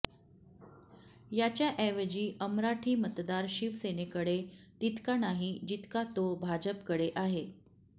याच्या ऐवजी अमराठी मतदार शिवसेनेकडे तितका नाही जितका तो भाजपकडे आहे